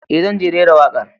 E, zan rera wakar.